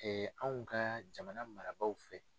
anw ka jamana marabaaw fɛ.